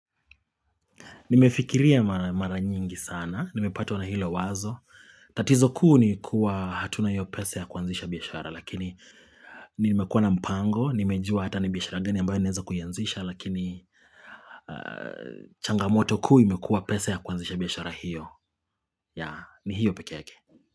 Nimefikiria mara nyingi sana, nimepatwa na hilo wazo, tatizo kuu ni kuwa hatuna hiyo pesa ya kuanzisha biashara lakini nimekuwa na mpango, nimejua hata ni biashara gani ambayo naezo kuyanzisha lakini changamoto kuu imekua pesa ya kwanzisha biashara hiyo, ya ni hiyo peke yake.